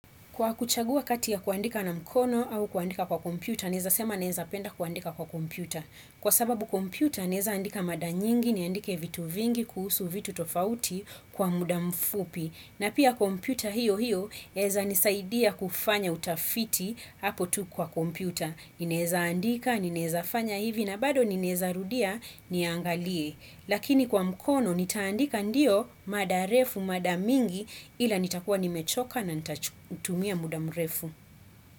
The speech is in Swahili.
Kwa kuchagua kati ya kuandika na mkono au kuandika kwa kompyuta, naeza sema naeza penda kuandika kwa kompyuta. Kwa sababu kompyuta, naeza andika mada nyingi, niandike vitu vingi, kuhusu vitu tofauti kwa muda mfupi. Na pia kompyuta hiyo hiyo, yaeza nisaidia kufanya utafiti hapo tu kwa kompyuta. Naezaandika, naeza fanya hivi na bado ninaeza rudia niangalie. Lakini kwa mkono nitaandika ndio mada refu mada mingi ila nitakuwa nimechoka na nitatumia muda mrefu.